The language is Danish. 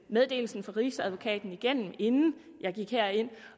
meddelelsen fra rigsadvokaten igennem inden jeg gik herind